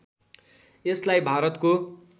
यसलाई भारतको